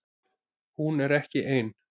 Hún er ekki ein